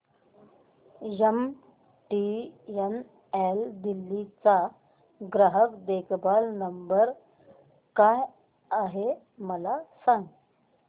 MTNL Delhi चा ग्राहक देखभाल नंबर काय आहे मला सांग